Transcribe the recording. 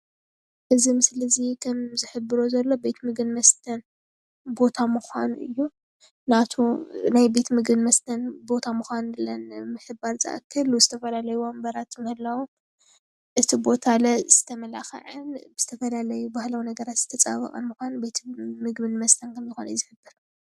እዚ ምስሊ እዚ ከም ዝሕብሮ ዘሎ ቤት ምግብን መስተን ቦታ ምኳኑ እዩ፡፡ ናይ ቤት ምግብን መስተን ብምሕባር ዝኣክል ዝተፈላለዩ ወንበራት ምህላዎም እቲ ቦታ ዝተማላከዐ ዝተፋለለዩ ባህላዊ ነገራት ዝተፀባበቀን ምኳኑ ቤት ምግብን መስተን ከም ዝኮነ እዩ ዝፍለጥ፡፡